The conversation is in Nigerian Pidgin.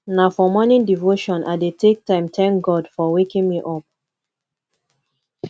na for morning devotion i dey take time tank god for waking me up